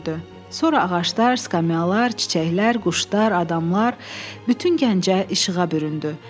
Sonra ağaclar, skamyalar, çiçəklər, quşlar, adamlar, bütün Gəncə işığa büründü.